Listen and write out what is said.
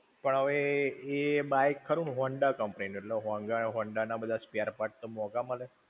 પણ હવે એ bike ખરું Honda company નું. એટલે Honda ના બધા spare-parts તો મોંઘા મળે.